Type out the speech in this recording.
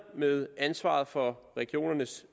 med ansvaret for regionernes